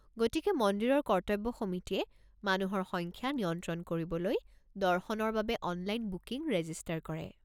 গতিকে মন্দিৰৰ কৰ্তব্য সমিতিয়ে মানুহৰ সংখ্যা নিয়ন্ত্ৰণ কৰিবলৈ দৰ্শনৰ বাবে অনলাইন বুকিং ৰেজিষ্টাৰ কৰে।